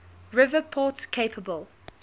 river port capable